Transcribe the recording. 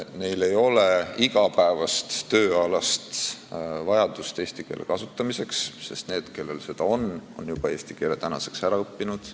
Neil ei ole igapäevast tööalast vajadust eesti keelt kasutada, sest need, kellel see on, on eesti keele tänaseks juba ära õppinud.